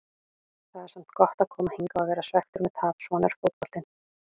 Það er samt gott að koma hingað og vera svekktur með tap, svona er fótboltinn.